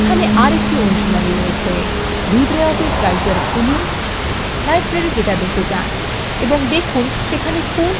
1 libreoffice writer খুলুন library ডাটাবেসএ যান এবং দেখুন সেখানে কোন কোন টেবিল আছে